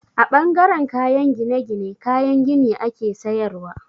A ɓangaren kayan gine-gine, kayan gini ake sayarwa.